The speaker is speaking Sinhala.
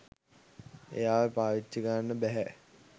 එයාව පාවිච්චි කරන්න බැහැ.